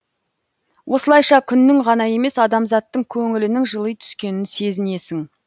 осылайша күннің ғана емес адамзаттың көңілінің жыли түскенін сезінесің